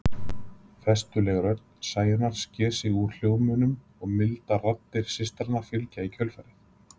Festuleg rödd Sæunnar sker sig úr samhljómnum og mildar raddir systranna fylgja í kjölfarið.